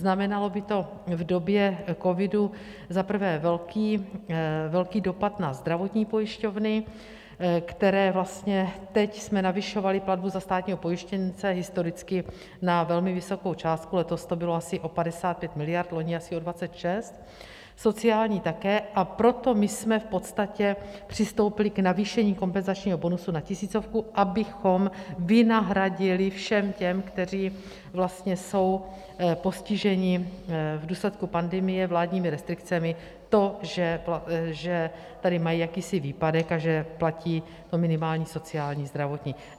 Znamenalo by to v době covidu za prvé velký dopad na zdravotní pojišťovny, které vlastně... teď jsme navyšovali platbu za státního pojištěnce historicky na velmi vysokou částku, letos to bylo asi o 55 miliard, loni asi o 26, sociální také, a proto my jsme v podstatě přistoupili k navýšení kompenzačního bonusu na tisícovku, abychom vynahradili všem těm, kteří vlastně jsou postiženi v důsledku pandemie vládními restrikcemi, to, že tady mají jakýsi výpadek a že platí to minimální sociální, zdravotní.